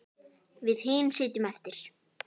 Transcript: Við hin sitjum eftir.